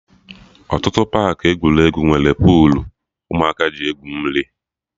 Ọtụtụ paakị egwuregwu nwere puulu ụmụaka ji egwu mmiri